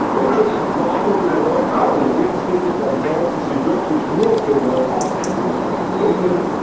Wenn schon eine Verordnung über neuartige Lebensmittel, dann sollte sie wirklich nur für neuartige Lebensmittel gelten.